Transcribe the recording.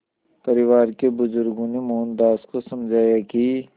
परिवार के बुज़ुर्गों ने मोहनदास को समझाया कि